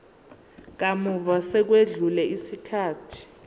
kamuva sekwedlule isikhathi